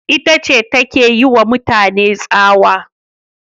Ita ce take yiwa mutane tsawa